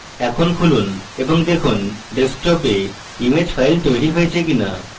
এখন খুলুন এবং দেখুন ডেস্কটপে image file তৈরী হয়েছে কিনা